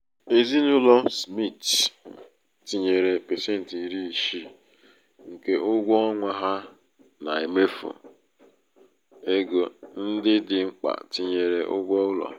ezinaụlọ smith um tinyere pasenti iri isii nke ụgwọ ọnwa ha na mmefu égo ndị dị mkpa tinyere ụgwọ ụlọ.